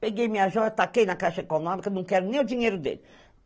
Peguei minhas joias, taquei na caixa econômica, não quero nem o dinheiro dele.